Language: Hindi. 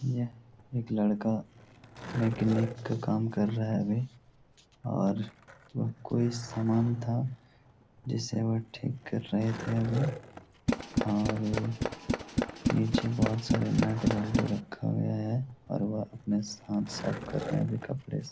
यह एक लड़का मेकेनिक का काम कर रहा है अभी और वह कोई सामान था जिसे वह ठीक कर रहे थे अभी और नीचे बहुत सारे नट बोल्ट रखा हुआ है और वह अपने हाथ साफ कर रहे अभी कपड़े से।